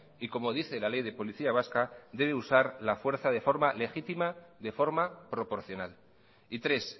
y como dice la ley de policía vasca debe usar la fuerza de forma legítima de forma proporcional y tres